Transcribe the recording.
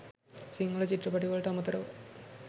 සිංහල චිත්‍රපටවලට අමතරව